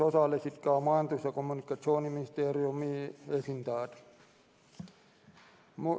Osalesid ka Majandus- ja Kommunikatsiooniministeeriumi esindajad.